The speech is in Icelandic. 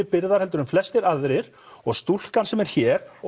byrðar en flestir aðrir og stúlkan sem er hér